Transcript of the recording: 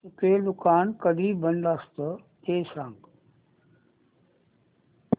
चितळेंचं दुकान कधी बंद असतं ते सांग